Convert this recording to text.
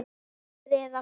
Fjórir eða fimm!